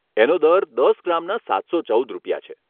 એનો દર દસ ગ્રામના સાતસો ચૌદ રૂપિયા છે.